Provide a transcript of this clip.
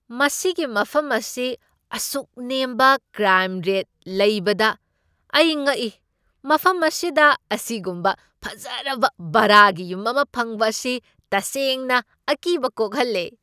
ꯃꯁꯤꯒꯤ ꯃꯐꯝ ꯑꯁꯤ ꯑꯁꯨꯛ ꯅꯦꯝꯕ ꯀ꯭ꯔꯥꯏꯝ ꯔꯦꯠ ꯂꯩꯕꯗ ꯑꯩ ꯉꯛꯏ꯫ ꯃꯐꯝ ꯑꯁꯤꯗ ꯑꯁꯤꯒꯨꯝꯕ ꯐꯖꯔꯕ ꯚꯔꯥꯒꯤ ꯌꯨꯝ ꯑꯃ ꯐꯪꯕ ꯑꯁꯤ ꯇꯁꯦꯡꯅ ꯑꯀꯤꯕ ꯀꯣꯛꯍꯜꯂꯦ꯫